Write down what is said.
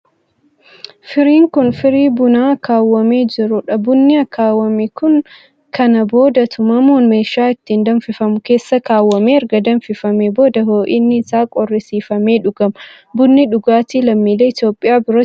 Firiin kun, firii buna akaawwamee jiruu dha. Bunni akaawwame kun kana booda tumamuun meeshaa ittiin danfifamu keessa kaawwamee erga danfifamee booda ho'inni isaa qorrisiifamee dhugama. Bunni, dhugaatii lammiilee Itoophiyaa biratti guyyaa guyyaan dhugamuu dha.